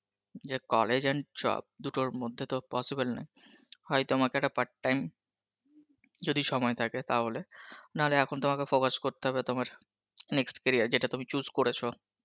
যে college and job দুটোর মধ্যে তো possible নয়, হয় তোমাকে একটা part time যদি সময় থাকে তাহলে নাহলে এখন তোমাকে focus করতে হবে তোমার next career যেটা তুমি choose করেছো